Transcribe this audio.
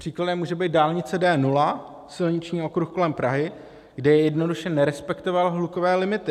Příkladem může být dálnice D0, silniční okruh kolem Prahy, kde jednoduše nerespektoval hlukové limity.